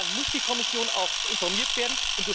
Und dann muss die Kommission auch informiert werden.